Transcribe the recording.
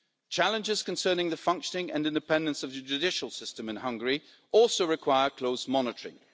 Challenges concerning the functioning and independence of the judicial system in Hungary also require close monitoring.